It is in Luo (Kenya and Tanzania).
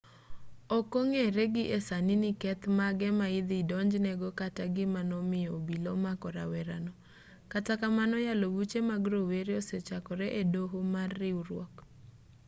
ok ong'ere gi e sani ni keth mage ma idhi donjne go kata gima nomiyo obila omako rawerano kata kamano yalo buche mag rowere osechakore e doho mar riwruok